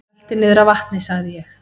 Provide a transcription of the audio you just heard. Rölti niður að vatni sagði ég.